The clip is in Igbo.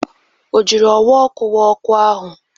O jiri ọwa ọkụ wa ọkụ ahụ?